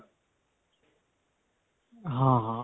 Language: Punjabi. ਹਾਂ, ਹਾਂ.